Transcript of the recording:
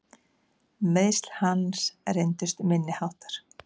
Meiðsl hans reyndust minni háttar.